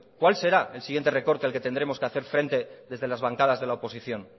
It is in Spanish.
cuál será el siguiente recorte al que tendremos que hacer frente desde las bancadas de la oposición